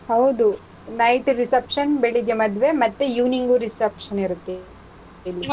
ಹೌದು. night reception, ಬೆಳಿಗ್ಗೆ ಮದ್ವೆ, ಮತ್ತೆ evening reception ಇರುತ್ತೆ ಇಲ್ಲಿ.